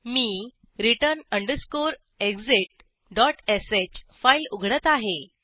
मी return exitsh file उघडत आहे